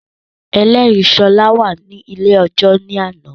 Ẹlẹ́rìí Ṣọlá wá sí ilé ẹjọ́ ní àná